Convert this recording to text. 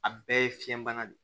A bɛɛ ye fiɲɛ bana de ye